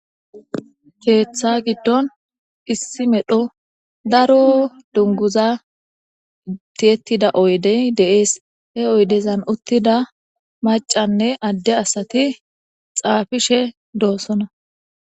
keeththa giddon issi medho daro dunguza ittiyettida oydey deees he oydezan uttida macanne adde asati xaafishe doosona